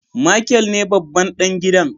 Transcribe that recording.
Michael ne babban dan gidan.